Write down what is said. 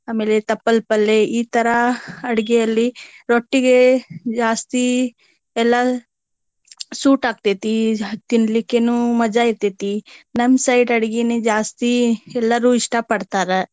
ಆಮೇಲೆ ತಪ್ಪಲ ಪಲ್ಲೆ ಈ ತರಾ ಅಡಗೆಯಲ್ಲಿ ರೊಟ್ಟಿಗೆ ಜಾಸ್ತಿ ಎಲ್ಲಾ suit ಆಗ್ತೇತಿ ತಿನಲಿಕ್ಕೆನು ಮಜಾ ಇರ್ತೆತಿ ನಮ್ಮ ಅಡ್ಗಿನೆ ಜಾಸ್ತಿ ಎಲ್ಲಾರು ಇಷ್ಟಾ ಪಡ್ತಾರ.